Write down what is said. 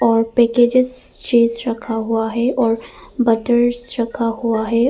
और packaged cheese रखा हुआ है और बटर्स रखा हुआ है।